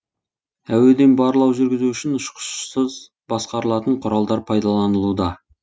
әуеден барлау жүргізу үшін ұшқышсыз басқарылатын құралдар пайдалынылуда